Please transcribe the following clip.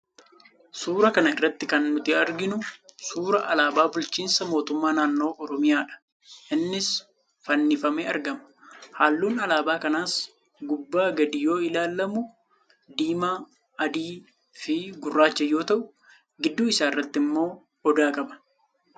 Suuraa kana irratti kan nuti arginu suuraa alaabaa bulchiinsa mootummaa naann Oromiyaadha. Innis fannifamee argama. Halluun alaabaa kanaas gubbaa gadi yoo ilaalamu, diimaa, adii fi gurraacha yoo ta'u, gidduu isaa irratti immoo Odaa qaba.